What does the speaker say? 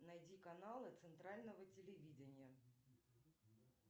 найди каналы центрального телевидения